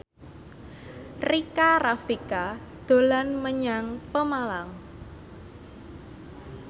Rika Rafika dolan menyang Pemalang